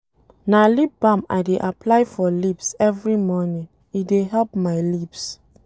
Na lip balm I dey apply for lips every morning, e dey help my lips.